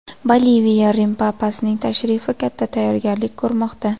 Boliviya Rim papasining tashrifi katta tayyorgarlik ko‘rmoqda.